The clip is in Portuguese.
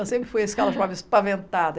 Eu sempre fui chamava espaventada.